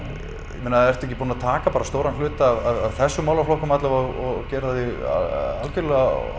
ég meina ertu ekki búinn að taka bara stóran hluta af þessum málaflokkum alla vega og gera þig algjörlega